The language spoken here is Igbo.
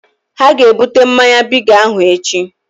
Ha ga ebute mmanya Bigi ahụ echi